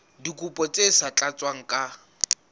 dikopo tse sa tlatswang ka